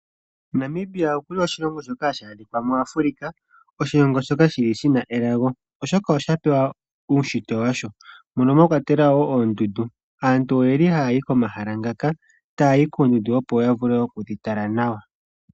Namibia okuli oshilongo shoka hashi adhikwa muAfrika oshilongo shoka shili shina elago. Oshoka osha pewa uushitwe washo moka mwa kwatelwa wo oondundu. Aantu oyeli haya yi komahala ngaka taya yi koondundu opo yavule okudhi tala nawa.